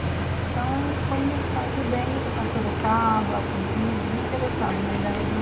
Então, está indo bem o pessoal de Sorocaba, Campinas, bem interessado da região.